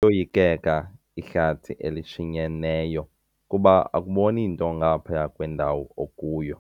Liyoyikeka ihlathi elishinyeneyo kuba akuboni nto ngaphaya kwendawo okuyo.